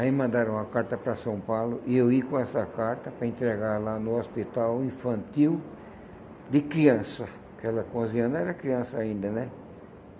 Aí me mandaram uma carta para São Paulo e eu ir com essa carta para entregar lá no hospital infantil de criança, porque ela com onze anos era criança ainda, né?